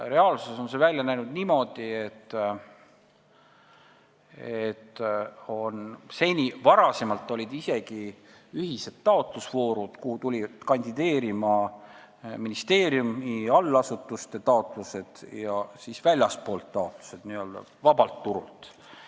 Reaalsuses on see välja näinud niimoodi, et varem olid isegi ühised taotlusvoorud, kus kandideerisid ministeerium ja tema allasutused ning väljastpoolt, n-ö vabalt turult tulnud.